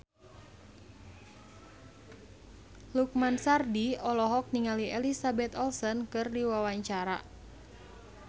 Lukman Sardi olohok ningali Elizabeth Olsen keur diwawancara